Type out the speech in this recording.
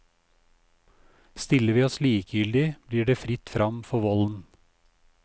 Stiller vi oss likegyldige, blir det fritt frem for volden.